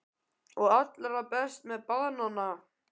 Og allra best var að koma með banana.